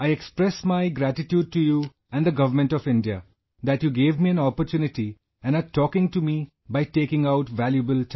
I express my gratitude to you and the Government of India, that you gave me an opportunity and aretalking to meby taking out valuable time